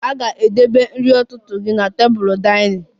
A ga-edebe nri ụtụtụ gị na tebụl dinning